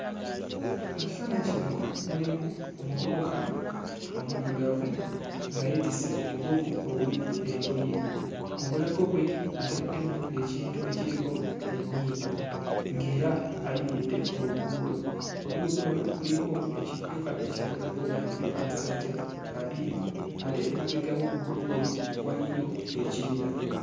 Mu kifaananyi muno mulimu omuvubuka omuddugavu nga yeetisse omugugu ogulimu engoye. Mu bulago bwe ataddemu ekintu ekiriko ennyimba ng'era ayimiridde ku luguudo. Oluguudo olwo kuliko ekidduka ekya boodabooda nga kuliko abasajja babiri ate emabega w'oluguudo olwo waliyo ekibira.